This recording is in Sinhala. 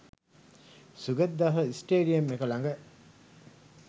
සුගතදාස ස්ටේඩියම් එක ළඟ